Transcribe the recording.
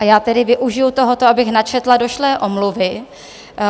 A já tedy využiji tohoto, abych načetla došlé omluvy.